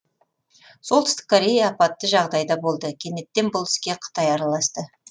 солтүстік корея апатты жағдайда болды кенеттен бұл іске қытай араласты